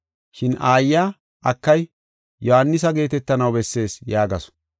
Shin aayiya, “Akay, Yohaanisa geetetanaw bessees” yaagasu.